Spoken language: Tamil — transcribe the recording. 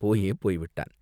போயே போய் விட்டான்.